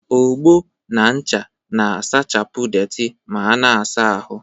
Ogbo na ncha na-asachapụ deeti ma ana-asa ahụ